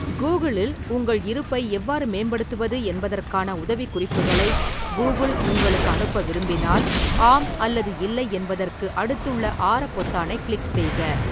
Google இல் உங்கள் இருப்பை எவ்வாறு மேம்படுத்துவது என்பதற்கான உதவிக்குறிப்புகளை கூகிள் உங்களுக்கு அனுப்ப விரும்பினால், "ஆம்" அல்லது "இல்லை" என்பதற்கு அடுத்துள்ள ஆர பொத்தானைக் கிளிக் செய்க.